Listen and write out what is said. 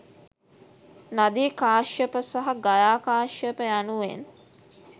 නදී කාශ්‍යප, සහ ගයා කාශ්‍යප යනුවෙන්